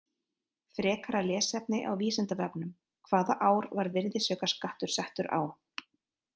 Frekara lesefni á Vísindavefnum: Hvaða ár var virðisaukaskattur settur á?